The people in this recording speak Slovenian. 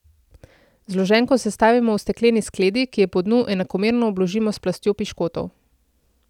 Zloženko sestavimo v stekleni skledi, ki jo po dnu enakomerno obložimo s plastjo piškotov.